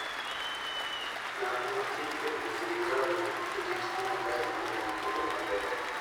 Ng'at ma thi e wuoth gi ngamia nigi thuolo maber mar neno kuonde mabeyo.